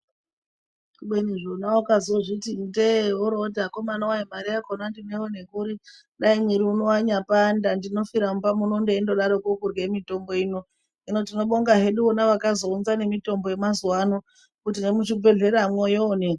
Kubeni zvona ukazozviti ndee worooti akomana wee mari yakona ndinoiona kuri, dai mwiri uno wanyapanda ndinofira mumba muno ndeindodaroko kurya mitombo ino, hino tinobonga hedu navo vakazounza nemitombo yemazuva ano nekuti nemuzvibhedhleramwo yooneka.